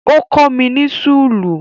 Ó kọ́ mi ní súlù